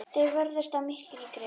Þeir vörðust af mikilli grimmd.